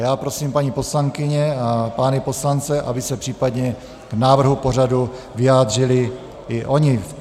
Já prosím paní poslankyně a pány poslance, aby se případně k návrhu pořadu vyjádřili i oni.